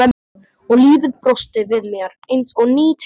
Og lífið brosti við mér eins og ný tilvera.